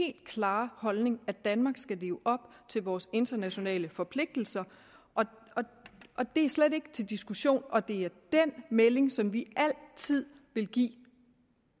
helt klare holdning at danmark skal leve op til vores internationale forpligtelser og det er slet ikke til diskussion og det er den melding som vi altid vil give